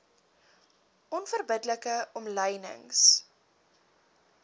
onverbidde like omlynings